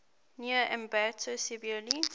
near ambato severely